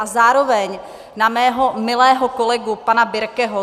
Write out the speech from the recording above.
A zároveň na mého milého kolegu pana Birkeho.